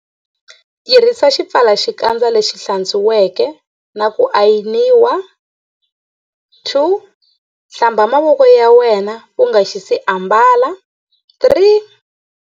Tirhisa xipfalaxikandza lexi hlatswiweke na ku ayiniwa.2. Hlamba mavoko ya wena u nga si xi ambala.3.